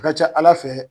A ka ca ala fɛ